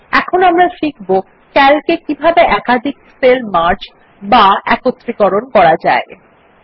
এখন আমরা শিখব Calc এ কিভাবে একাধিক সেল মার্জ বা সম্পূর্ণভাবে যুক্ত করা যায়